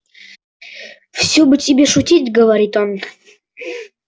всё бы тебе шутить говорит он